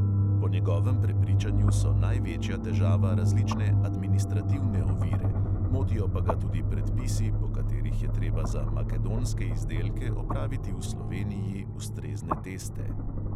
Po njegovem prepričanju so največja težava različne administrativne ovire, motijo pa ga tudi predpisi, po katerih je treba za makedonske izdelke opraviti v sloveniji ustrezne teste.